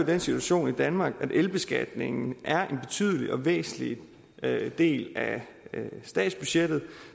den situation i danmark at elbeskatningen er en betydelig og væsentlig del af statsbudgettet